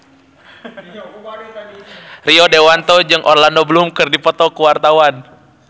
Rio Dewanto jeung Orlando Bloom keur dipoto ku wartawan